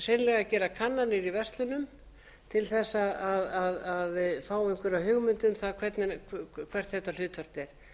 að gera kannanir í verslunum til þess að fá einhverja hugmynd um það hvert þetta hlutfall er